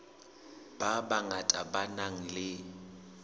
ba bangata ba nang le